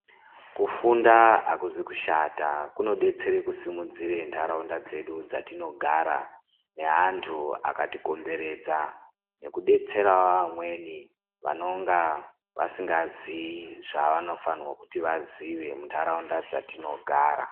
Kufunda akuzi kushata kunodetsere kusimudzire ntaraunda dzedu dzetinogara neantu akatikomberedza nekudetserawo vamweni vanonga vasingaziyi zvatinoziya muntaraunda dzatinogara.